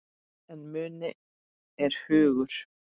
En muni er hugur.